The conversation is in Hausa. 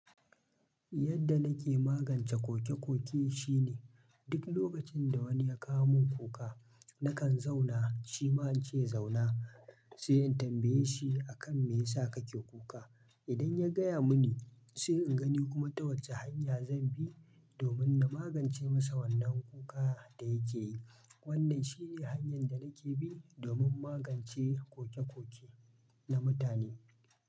Yadda nake magance kokekoke shine duk lokacin da wani ya kawo min kuka, nakan zauna, shi ma in ce ya zauna, sai in tambaye shi akan me ya sa kake kuka. Idan ya gaya mini, sai in gani kuma ta wace hanya zan bi domin na magance masa wannan kuka da yake yi. Wannan shine hanyar da nake bi domin magance kokekoke na mutane.